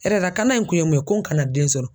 Hɛrɛ lakana in kun ye mun ye ko n kana den sɔrɔ.